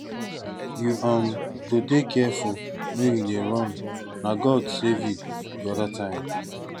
you um go dey careful wen you dey run na god save you the other time